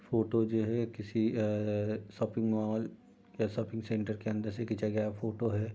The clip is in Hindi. फोटो जो है किसी अअअ शोपिंग मॉल के शोपिंग सेंटर के अंदर से खीचा गया फोटो है।